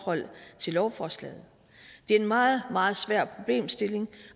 lovforslaget det er en meget meget svær problemstilling